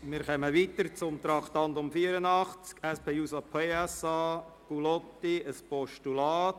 Wir kommen zum Traktandum 84, dem Postulat SP-JUSO-PSA/Gullotti: